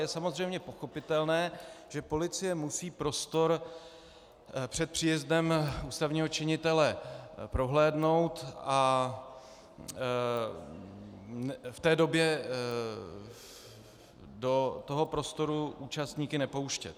Je samozřejmě pochopitelné, že policie musí prostor před příjezdem ústavního činitele prohlédnout a v té době do toho prostoru účastníky nepouštět.